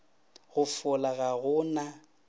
go fola ga go na